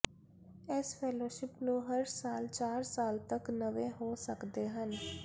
ਇਸ ਫੈਲੋਸ਼ਿਪ ਨੂੰ ਹਰ ਸਾਲ ਚਾਰ ਸਾਲ ਤੱਕ ਨਵੇਂ ਹੋ ਸਕਦੇ ਹਨ